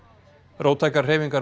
róttækar hreyfingar